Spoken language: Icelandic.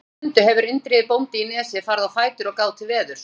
Fyrir stundu hefur Indriði bóndi í Nesi farið á fætur og gáð til veðurs.